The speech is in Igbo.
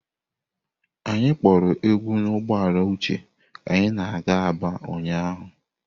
Anyị kporo egwu n'ụgbọala Uche ka anyị na-aga Aba ụnyahụ.